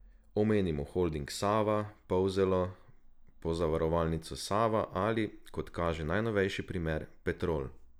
Omenimo holding Sava, Polzelo, Pozavarovalnico Sava ali, kot kaže najnovejši primer, Petrol.